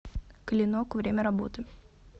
клинок время работы